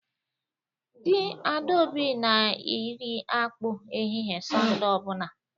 Di Adaobi na iri akpu ehihie Sunday obuna